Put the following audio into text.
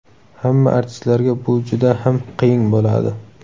Hamma artistlarga bu juda ham qiyin bo‘ladi.